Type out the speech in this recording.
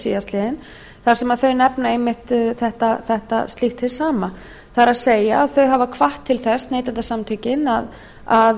síðastliðinn þar sem þau nefna einmitt slíkt hið sama ber að neytendasamtökin hafa hvatt til þess að